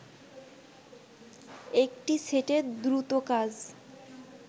একটি সেটের দ্রুত কাজ